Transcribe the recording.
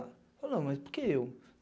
Eu falo, não, mas por que eu?